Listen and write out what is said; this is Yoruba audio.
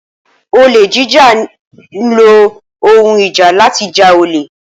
Olè jíjà ní ílo ohùn ìjà láti já olè.